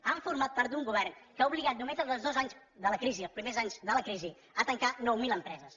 han format part d’un govern que ha obligat només en els dos anys de la crisi els primers anys de la crisi a tancar nou mil empreses